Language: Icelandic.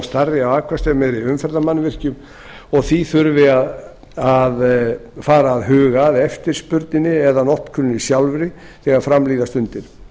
stærri og afkastameiri umferðarmannvirkjum og því þurfi að fara að huga að eftirspurninni eða notkuninni sjálfri þegar fram líða stundir